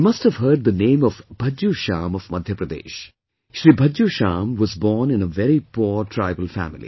You must have heard the name of Bhajju Shyam of Madhya Pradesh, Shri Bhajju Shyam was born in a very poor tribal family